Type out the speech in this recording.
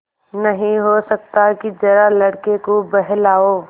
नहीं हो सकता कि जरा लड़के को बहलाओ